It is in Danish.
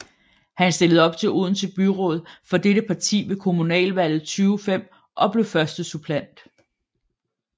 Hun stillede op til Odense Byråd for dette parti ved kommunalvalget 2005 og blev førstesuppleant